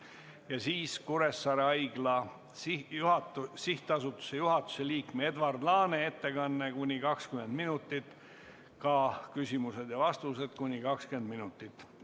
Ja siis Kuressaare Haigla SA juhatuse liikme Edward Laane ettekanne kuni 20 minutit ning küsimused ja vastused kuni 20 minutit.